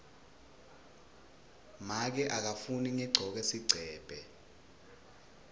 make akafuni ngigcoke sigcebhe